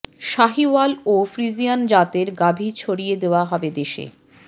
শাহিওয়াল ও ফ্রিজিয়ান জাতের গাভী ছড়িয়ে দেওয়া হবে দেশে